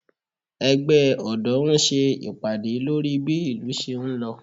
Ẹgbẹ́ ọ̀dọ́ ń ṣe ìpàdé lórí bí ìlú ṣé ń lọ